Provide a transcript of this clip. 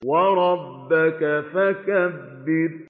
وَرَبَّكَ فَكَبِّرْ